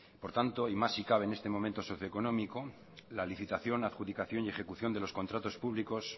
por tanto y más si cabe en este momento socio económico la licitación adjudicación y ejecución de los contratos públicos